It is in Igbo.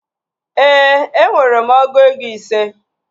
Ee, enwere m ọgụ ego ise